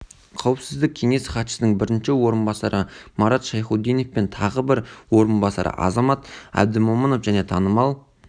қауіпсіздік кеңесі хатшысының бірінші орынбасары марат шайхутдинов пен тағы бір орынбасары азамат әбдімомынов және танымал